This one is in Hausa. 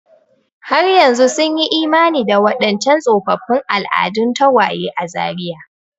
Har yanzu sun yi imani da waɗancan tsofaffin al'adun tagwaye a Zaria.